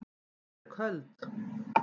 Ég er köld.